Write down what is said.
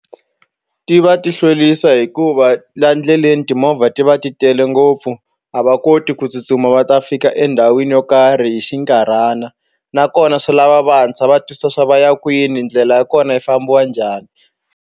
Ti va ti hlwerisa hikuva laha ndleleni timovha ti va ti tele ngopfu a va koti ku tsutsuma va ta fika endhawini yo karhi hi xinkarhana nakona swi lava va hatlisa va twisisa swa vaya kwini ndlela ya kona yi fambiwa njhani.